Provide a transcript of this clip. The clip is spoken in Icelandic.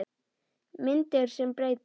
Myndir sem breyta